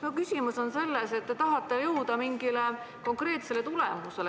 Mu küsimus on selles, et te justkui tahate jõuda mingi konkreetse tulemuseni.